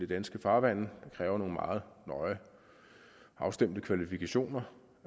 danske farvande det kræver nogle meget nøje afstemte kvalifikationer